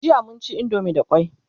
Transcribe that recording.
jiya mun ci indomie da kwai